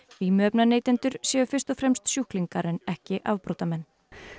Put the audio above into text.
vímuefnaneytendur séu fyrst og fremst sjúklingar en ekki afbrotamenn